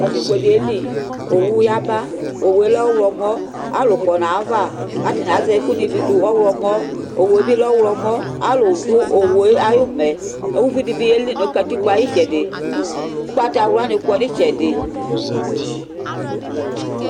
Katikpõɖi yeli Owu yaba Owu yɛ lɛ ɔwlɔmɔ Alu kɔ nu ayawa Ku atani azɛ ɛkuɖi bi ɖu, ɔwlɔmɔ Owu yɛ bi lɛ ɔwlɔmɔ Ãlu ɖu owu yɛ ayu umɛ Uviɖibi yeli nu katikpo yɛ ayu itsɛɖi Ugbatawlãni kɔ nu itsɛɖi